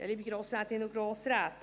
Liebe Grossrätinnen und Grossräte